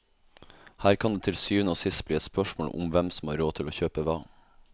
Her kan det til syvende og sist bli et spørsmål om hvem som har råd til å kjøpe hva.